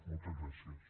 moltes gràcies